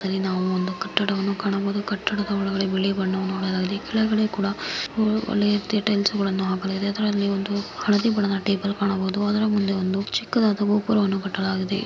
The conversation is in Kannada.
ಇದರಲ್ಲಿ ನಾವು ಒಂದು ಕಟ್ಟಡವನ್ನು ಕಾಣಬಹುದು ಕಟ್ಟಡದ ಒಳಗೆ ಬಿಳಿ ಬಣ್ಣವನ್ನು ನೋಡಲಾಗಿದೆ ಕೆಳಗಡೆ ಕೂಡ ಒಳ್ಳೆಯ ರೀತಿಯ ಟೈಲ್ಸ್ ಗಳನ್ನು ಹಾಕಲಾಗಿದೆ ಅದರಲ್ಲಿ ಒಂದು ಹಳದಿ ಬಣ್ಣದ ಟೇಬಲ್ ಕಾಣಬಹುದು. ಆದರೆ ಮುಂದೆ ಒಂದು ಚಿಕ್ಕದಾದ ಗೋಪುರವನ್ನು ಕಟ್ಟಲಾಗಿದೆ.